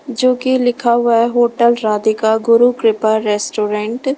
जो की लिखा हुआ है होटल राधिका गुरु कृपा रेस्टोरेंट ।